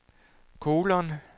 kolon